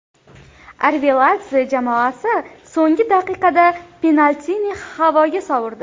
Arveladze jamoasi so‘nggi daqiqada penaltini havoga sovurdi.